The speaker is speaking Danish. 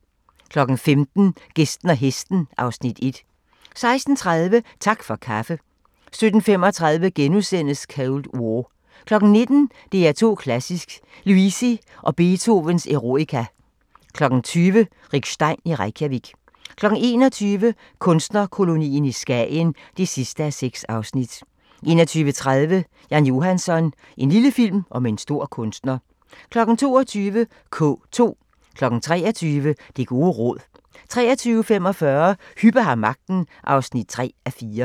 15:00: Gæsten og hesten (Afs. 1) 16:30: Tak for kaffe 17:35: Cold War * 19:00: DR2 Klassisk: Luisi & Beethovens Eroica 20:00: Rick Stein i Reykjavik 21:00: Kunstnerkolonien i Skagen (6:6) 21:30: Jan Johansson – en lille film om en stor kunstner 22:00: K2 23:00: Det gode råd 23:45: Hübbe har magten (3:4)